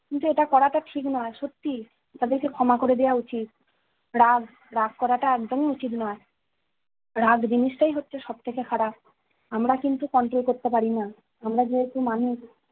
কিন্তু এটা করাটা ঠিক নয়, সত্যি, তাদেরকে ক্ষমা করে দেওয়া উচিত। রাগ, রাগ করাটা একদমই উচিত নয়। রাগ জিনিসটাই হচ্ছে সবথেকে খারাপ। আমরা কিন্তু control করতে পারিনা। আমরা যেহেতু মানুষ,